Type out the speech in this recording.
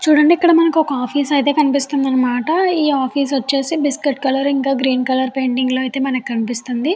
ఇక్కడ మనకి ఒక ఆఫీసు అయితే కనిపిస్తుంది అనమాట. ఈ ఆఫీసు వచ్చేసి biscuit colour green colour painting లో మనకి కనిపిస్తుంది.